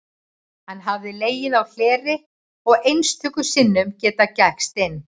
Hann hafði legið á hleri og einstöku sinnum getað gægst inn.